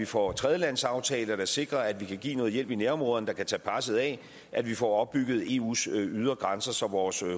for tredjelandsaftaler der sikrer at vi kan give noget hjælp i nærområderne der kan tage presset af at vi får opbygget eus ydre grænser så vores